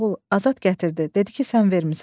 Azad gətirdi, dedi ki, sən vermisən.